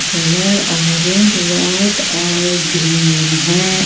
Colour orange white और green है।